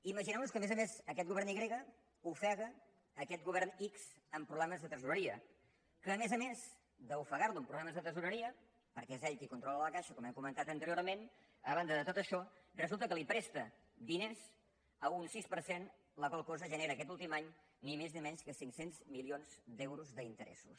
imaginem nos que a més a més aquest govern i grega ofega aquest govern ics amb problemes de tresoreria que a més a més d’ofegar lo amb problemes de tresoreria perquè és ell qui controla la caixa com hem comentat anteriorment a banda de tot això resulta que li presta diners a un sis per cent la qual cosa genera aquest últim any ni més ni menys que cinc cents milions d’euros d’interessos